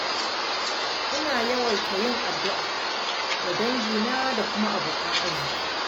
Ina yawaita yin addu’a ga dangina da kuma abokan arziƙi.